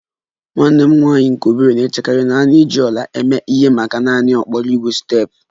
Nwanne m nwanyị nke obere na-echekarị na a na-eji ọla eme ihe maka naanị okporo ígwè steepụ